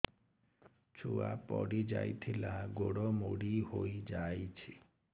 ଛୁଆ ପଡିଯାଇଥିଲା ଗୋଡ ମୋଡ଼ି ହୋଇଯାଇଛି